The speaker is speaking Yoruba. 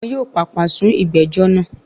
Wọn yóò pàpà sún ìgbẹ́jọ́ náà.